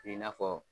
I n'a fɔ